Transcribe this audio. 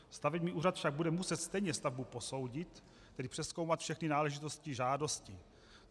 Stavební úřad však bude muset stejně stavbu posoudit, tedy přezkoumat všechny náležitosti žádostí.